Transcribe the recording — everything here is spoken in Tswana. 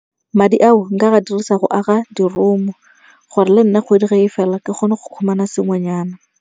Madi ao nka dirisa go aga di-room-o gore lenna kgwedi ge e fela ke kgone go khumana sengwenyana.